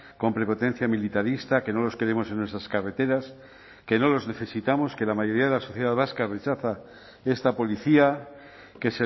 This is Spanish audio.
con prepotencia militarista que no los queremos en nuestras carreteras que no los necesitamos que la mayoría de la sociedad vasca rechaza esta policía que